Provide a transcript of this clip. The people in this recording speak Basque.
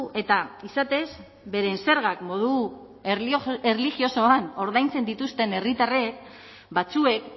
eta izatez beren zergak modu erlijiosoan ordaintzen dituzten herritarrek batzuek